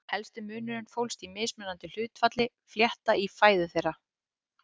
Helsti munurinn fólst í mismunandi hlutfalli flétta í fæðu þeirra.